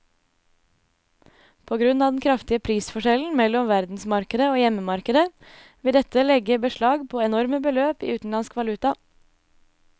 På grunn av den kraftige prisforskjellen mellom verdensmarkedet og hjemmemarkedet vil dette legge beslag på enorme beløp i utenlandsk valuta.